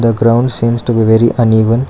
the ground seems to be very uneven.